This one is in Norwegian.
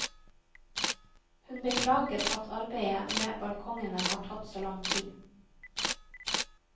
Hun beklager at arbeidet med balkongene har tatt så lang tid.